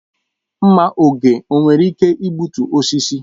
Mma oge o nwere ike igbutu osisi?